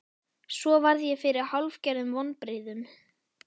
Svo varð ég fyrir hálfgerðum vonbrigðum.